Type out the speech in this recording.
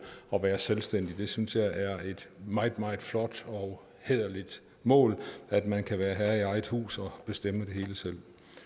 at være selvstændig jeg synes det er et meget meget flot og hæderligt mål at man kan være herre i eget hus og bestemme det hele selv